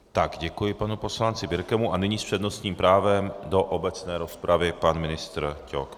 Tak, děkuji panu poslanci Birkemu a nyní s přednostním právem do obecné rozpravy pan ministr Ťok.